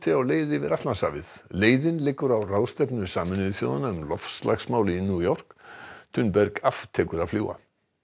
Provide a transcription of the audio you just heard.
á leið yfir Atlantshafið leiðin liggur á ráðstefnu Sameinuðu þjóðanna um loftslagsmál í New York aftekur að fljúga